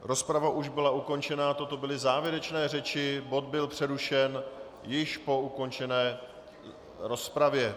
Rozprava už byla ukončena, toto byly závěrečné řeči, bod byl přerušen po již ukončené rozpravě.